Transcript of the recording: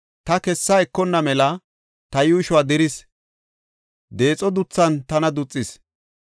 Ta kessa ekonna mela, ta yuushuwa diris; deexo duthan tana duxis.